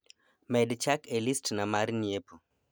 med chak e list na mar nyiepo